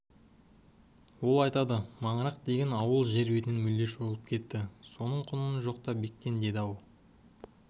ол айтады маңырақ деген ауыл жер бетінен мүлде жойылып кетті соның құнын жоқта бектен деді-ау ал